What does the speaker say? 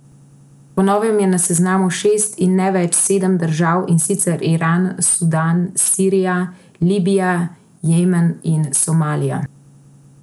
Po novem je na seznamu šest in ne več sedem držav, in sicer Iran, Sudan, Sirija, Libija, Jemen in Somalija.